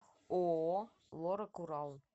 ооо лорак урал